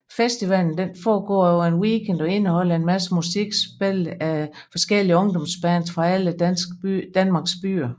Festivalen foregår over en weekend og indeholder en masse musik spillet af forskellige ungdomsbands fra alle Danmarks byer